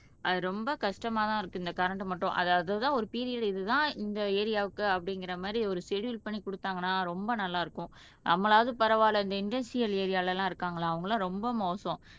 அது ரொம்ப கஷ்டமாதான் இருக்கு இந்த கரண்ட் மட்டும் அது அதுதான் ஒரு பீரியட் இதுதான் இந்த ஏரியாவுக்கு அப்படிங்கிற மாதிரி ஒரு ஸ்செடுல் பண்ணி கொடுத்தாங்கன்னா ரொம்ப நல்லா இருக்கும் நம்மளாவது பரவாயில்லை இந்த இண்டஸ்ட்ரியல் ஏரியால எல்லாம் இருக்காங்களா அவங்க எல்லாம் ரொம்ப மோசம்